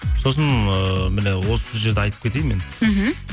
сосын ыыы міне осы жерде айтып кетейін мен мхм